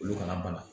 Olu kana makɔnɔ